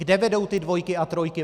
Kde vedou ty dvojky a trojky?